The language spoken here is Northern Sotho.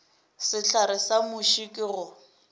sehlare sa muši ke go